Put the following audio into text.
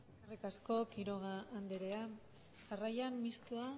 eskerrik asko quiroga andrea jarraian mistoa